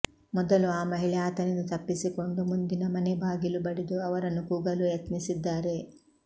ಮೊದಲು ಆ ಮಹಿಳೆ ಆತನಿಂದ ತಪ್ಪಿಸಿಕೊಂಡು ಮುಂದಿನ ಮನೆ ಬಾಗಿಲು ಬಡಿದು ಅವರನ್ನು ಕೂಗಲು ಯತ್ನಿಸಿದ್ದಾರೆ